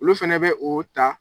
Olu fɛnɛ bɛ oo ta